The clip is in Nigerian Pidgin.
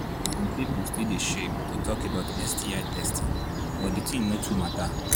some people still they shame to talk about sti testing but the thing no too matter